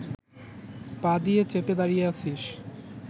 পা দিয়ে চেপে দাঁড়িয়ে আছিস